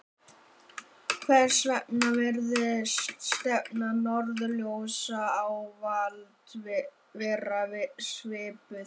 Hvers vegna virðist stefna norðurljósa ávallt vera svipuð?